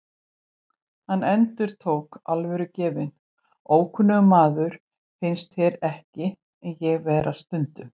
Hann endurtók, alvörugefinn: Ókunnugur maður, finnst þér ekki ég vera stundum?